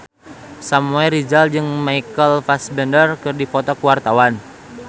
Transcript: Samuel Rizal jeung Michael Fassbender keur dipoto ku wartawan